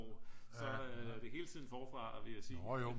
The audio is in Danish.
så er det hele tiden forfra vil jeg sige